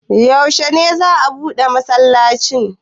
Yaushe za a buɗe masallacin?